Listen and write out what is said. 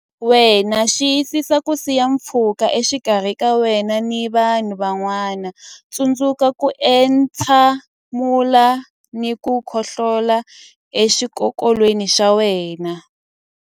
Wena Xiyisisa ku siya pfhuka exikarhi ka wena na vanhu van'wana Tsundzuka ku entshe mula na ku khohlolela exikokolweni xa wena.